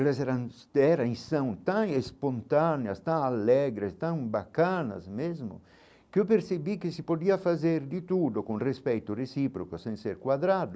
Elas eram eram e são tão espontâneas, tão alegres, tão bacanas mesmo, que eu percebi que se podia fazer de tudo com respeito recíproco, sem ser quadrado,